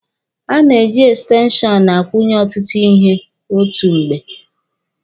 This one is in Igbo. A na-eji ekstenshọnụ akwụnye ọtụtụ ihe otu mgbe.